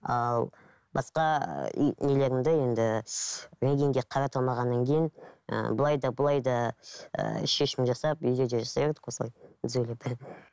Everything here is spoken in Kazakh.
ал басқа и нелерімді енді рентгенге қарата алмағаннан кейін ыыы былай да былай да ыыы шешім жасап үйге де істеп едік қой осылай түзулеп